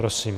Prosím.